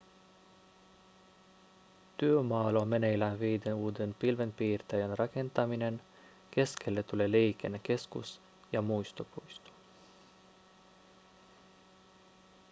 työmaalla on meneillään viiden uuden pilvenpiirtäjän rakentaminen keskelle tulee liikennekeskus ja muistopuisto